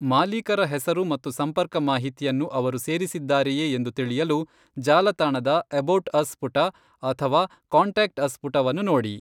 ಮಾಲೀಕರ ಹೆಸರು ಮತ್ತು ಸಂಪರ್ಕ ಮಾಹಿತಿಯನ್ನು ಅವರು ಸೇರಿಸಿದ್ದಾರೆಯೇ ಎಂದು ತಿಳಿಯಲು ಜಾಲತಾಣದ 'ಎಬೌಟ್ ಅಸ್' ಪುಟ ಅಥವಾ 'ಕಾಂಟ್ಯಾಕ್ಟ್ ಅಸ್' ಪುಟವನ್ನು ನೋಡಿ.